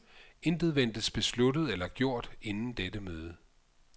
Intet ventes besluttet eller gjort inden dette møde.